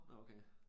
Nå okay